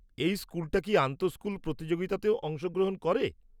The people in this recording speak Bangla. এই স্কুলটা কি আন্তঃস্কুল প্রতিযোগিতাতেও অংশগ্রহণ করে?